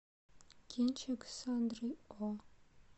кинчик с сандрой о